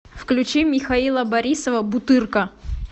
включи михаила борисова бутырка